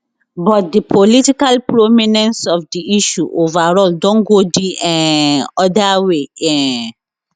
but di political prominence of di issue overall don go di um oda way um